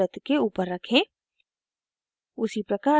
इसे पहले वृत्त के ऊपर रखें